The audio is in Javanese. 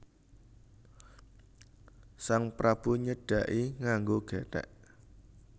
Sang Prabu nyedhaki nganggo gethek